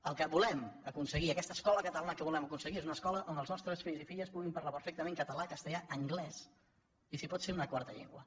el que volem aconseguir aquesta escola catalana que volem aconseguir és una escola on els nostres fills i filles puguin parlar perfec·tament català castellà anglès i si pot ser una quarta llengua